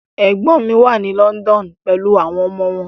Ẹ̀gbọ́n mi wà ní London pelu àwọn ọmọ wọn.